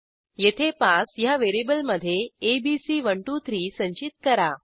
येथे पास ह्या व्हेरिएबलमधे एबीसी123 संचित करा